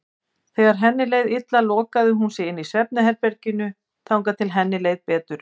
Þegar henni leið illa lokaði hún sig inni í svefnherberginu þangað til henni leið betur.